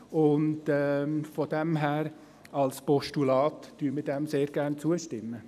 Und daher stimmen wir dem Postulat sehr gerne zu.